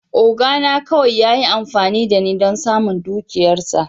Oga na kawai ya yi amfani da ni don samun dukiyarsa.